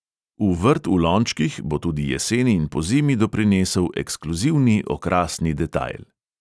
V vrt v lončkih bo tudi jeseni in pozimi doprinesel ekskluzivni okrasni detajl.